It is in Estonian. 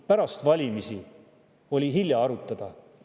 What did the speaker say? Pärast valimisi oli hilja arutada.